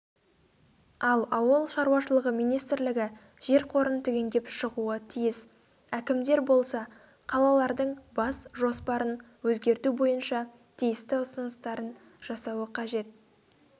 ал ауыл шаруашлығы министрілігі жер қорын түгендеп шығуы тиіс әкімдер болса қалалардың бас жоспарын өзгерту бойынша тиісті ұсыныстарын жасауы қажет